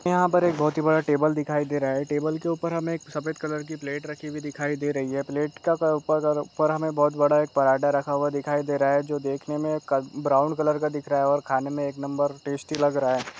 यहाँ पर एक बहुत ही बड़ा टेबल दिखाई दे रहा है टेबल के ऊपर हमे एक सफेद कलर की प्लेट रखी हुई दिखाई दे रही हैं प्लेट के ऊपर हमे एक बहुत बड़ा एक पराठा रखा हुआ दिखाई दे रहा हैं जो देखने मे ब्राउन कलर का दिख रहा हैं और खाने मे एक नंबर टैस्टी लग लग रहा है।